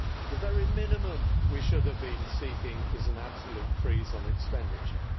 The very minimum we should have been seeking is an absolute freeze on expenditure.